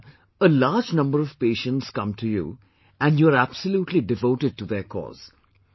Ok Doctor, a large amount of patients come to you and you are absolutely devoted to their cause